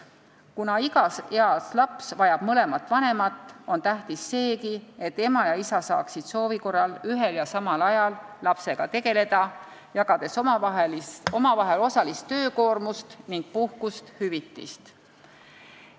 Kuna igas eas laps vajab mõlemat vanemat, on tähtis seegi, et ema ja isa saaksid soovi korral ühel ja samal ajal lapsega tegeleda, jagades omavahel osalist töökoormust ning puhkust ja hüvitist.